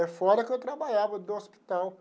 É fora que eu trabalhava, do hospital.